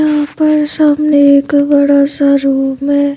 यहां पर सामने एक बड़ा सा रूम हैं।